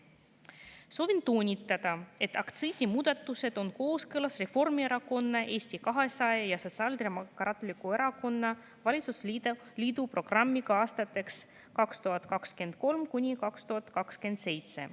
Soovin toonitada, et aktsiisimuudatused on kooskõlas Reformierakonna, Eesti 200 ja Sotsiaaldemokraatliku Erakonna valitsusliidu programmiga aastateks 2023–2027.